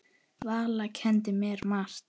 Valla kenndi mér margt.